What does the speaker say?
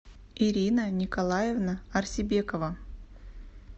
ирина николаевна арсибекова